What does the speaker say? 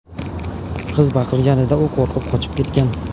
Qiz baqirganida u qo‘rqib, qochib ketgan.